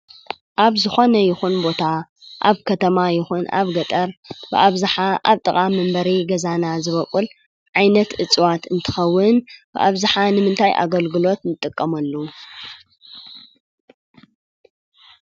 ኣብ ዝኾነ ይኹን ቦታ ኣብ ከተማ ይኹን ኣብ ገጠር ብኣብዝሓ ኣብ ጥቓ መንበሪ ገዛና ዝቦቅል ዓይነት እፅዋት እንትኸዉን ብኣብዝሓ ንምንታይ ኣገልገሎት ንጥቀመሉ?